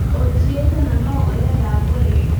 ũnjiyĩte na no ũrenda ngũrĩhe